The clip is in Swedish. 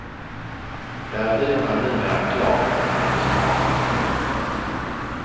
Där är hyrorna numera klart konkurrenskraftiga.